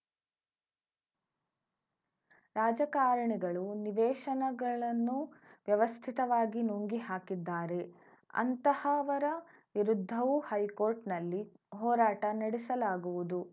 ರಾಜಕಾರಣಿಗಳು ನಿವೇಶನಗಳನ್ನು ವ್ಯವಸ್ಥಿತವಾಗಿ ನುಂಗಿ ಹಾಕಿದ್ದಾರೆ ಅಂತಹವರ ವಿರುದ್ಧವೂ ಹೈಕೋರ್ಟ್ ನಲ್ಲಿ ಹೋರಾಟ ನಡೆಸಲಾಗುವುದು